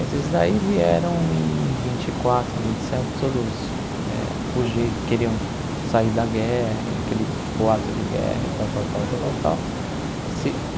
Esses daí vieram em vinte e quatro, vinte e sete, todos eh fugi queriam sair da guerra e, aquele boato de guerra e tal, tal, tal tal tal tal.